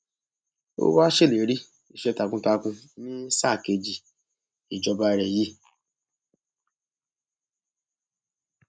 ó wáá ṣèlérí iṣẹ takuntakun ní sáà kejì ìjọba rẹ yìí